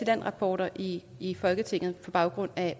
land rapporter i i folketinget på baggrund af